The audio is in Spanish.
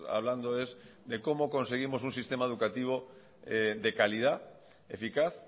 hablando es de cómo conseguimos un sistema educativo de calidad eficaz